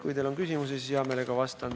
Kui teil on küsimusi, siis hea meelega vastan.